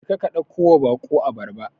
Jeka ka ɗakkowa baƙo abarba.